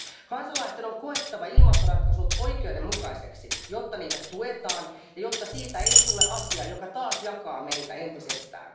Kansalaisten on koettava ilmastoratkaisut oikeudenmukaisiksi, jotta niitä tuetaan ja jotta niistä ei tule asiaa, joka taas jakaa meitä entisestään.